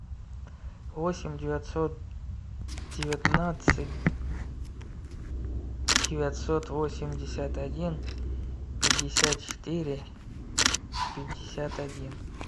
восемь девятьсот девятнадцать девятьсот восемьдесят один пятьдесят четыре пятьдесят один